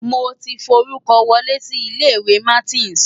Mo ti forúkọ wọlé sí ilé-ìwé Martins.